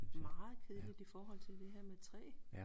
Meget kedeligt i forhold til det her med træ